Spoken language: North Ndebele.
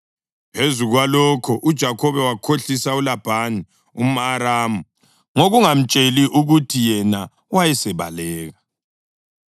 Phezu kwalokho uJakhobe wakhohlisa uLabhani umʼAramu ngokungamtsheli ukuthi yena wayesebaleka.